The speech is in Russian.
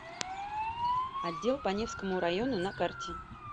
отдел по невскому району на карте